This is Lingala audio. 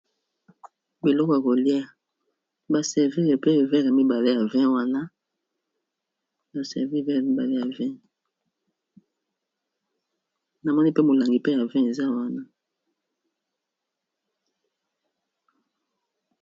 Biloko ya kolia ba servir pe verre mibale ya vin wana, ba servir verre mibale ya vin namoni mpe molangi pe ya vin eza wana.